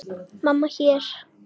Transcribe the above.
Mamma, hérna.